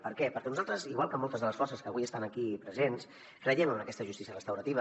per què perquè nosaltres igual que moltes de les forces que avui estan aquí presents creiem en aquesta justícia restaurativa